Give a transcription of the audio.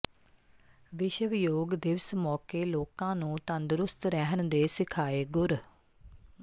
ਵਿਸ਼ਵ ਯੋਗ ਦਿਵਸ ਮੌਕੇ ਲੋਕਾਂ ਨੂੰ ਤੰਦਰੁਸਤ ਰਹਿਣ ਦੇ ਸਿਖਾਏ ਗੁਰ